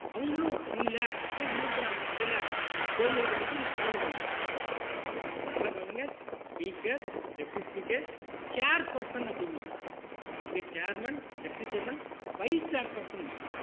அவங்களும் இல்ல அப்படின்னா இன்னொருத்தர் அந்த அவையில தேர்ந்தெடுக்கப்பட்டு தலைமை தாங்குவார் அப்ப நல்லா கவனிச்சிக்கோங்க speaker deputy speaker chair person அப்படிம்பாங்க இங்க chairman deputy chairman vice chair person ம்பாங்க